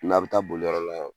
N'a bɛ taa boli yɔrɔ la